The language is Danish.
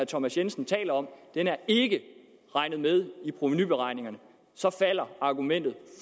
thomas jensen taler om er ikke regnet med i provenuberegningerne og så falder argumentet